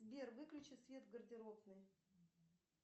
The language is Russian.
сбер выключи свет в гардеробной